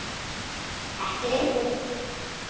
Ekki lengur.